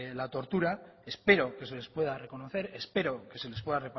la tortura espero que se les pueda reconocer espero que se les pueda